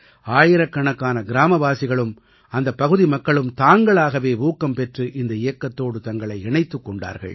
ஆயிரக்கணக்கான கிராமவாசிகளும் அந்தப் பகுதி மக்களும் தாங்களாகவே ஊக்கம் பெற்று இந்த இயக்கத்தோடு தங்களை இணைத்துக் கொண்டார்கள்